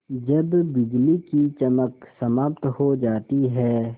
जब बिजली की चमक समाप्त हो जाती है